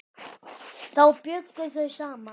Þá bjuggu þau saman.